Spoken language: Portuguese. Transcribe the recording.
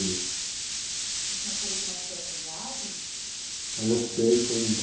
O senhor sabe como é que foi essa viagem? Não eu sei, foi um